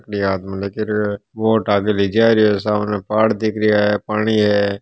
यह आदमी बोट को आगे ले जा रहा है साम पहाड दिख रहा हे पानी है।